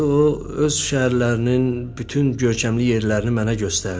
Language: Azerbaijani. O öz şəhərlərinin bütün görkəmli yerlərini mənə göstərdi.